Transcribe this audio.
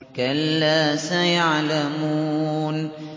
كَلَّا سَيَعْلَمُونَ